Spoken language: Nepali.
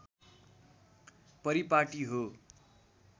परिपाटी हो